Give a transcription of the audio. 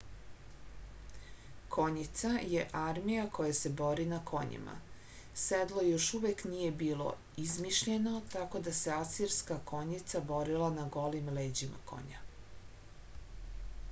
konjica je armija koja se bori na konjima sedlo još uvek nije bilo izmišljeno tako da se asirska konjica borila na golim leđima konja